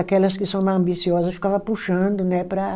Aquelas que são mais ambiciosa ficava puxando né, para